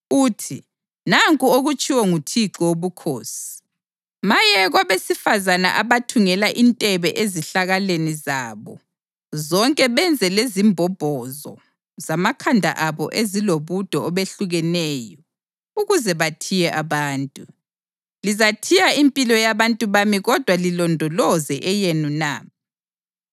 uthi, ‘Nanku okutshiwo nguThixo Wobukhosi: Maye kwabesifazane abathungela intebe ezihlakaleni zabo zonke benze lezimbombozo zamakhanda abo ezilobude obehlukeneyo ukuze bathiye abantu. Lizathiya impilo yabantu bami kodwa lilondoloze eyenu na?